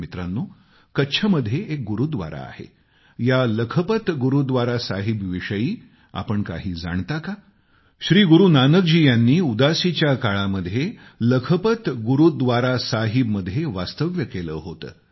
मित्रांनो कच्छमध्ये एक गुरूव्दारा आहे या लखपत गुरूव्दारा साहिब याविषयी तुम्ही काही जाणता का श्री गुरू नानक जी आपल्या उदासी च्या काळामध्ये लखपत गुरूव्दरा साहिबमध्ये वास्तव्य करीत होते